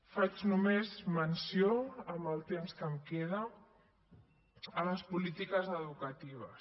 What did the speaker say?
faig només menció amb el temps que em queda a les polítiques educatives